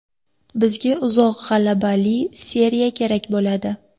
Bizga uzoq g‘alabali seriya kerak bo‘ladi.